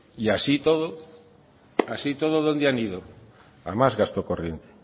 y así y todo dónde han ido a más gasto corriente